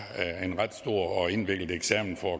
en ret stor og indviklet eksamen for